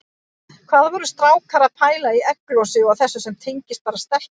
Hvað voru strákar að pæla í egglosi og þessu sem gerist bara í stelpum!